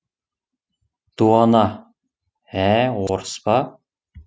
дуана ә орыс па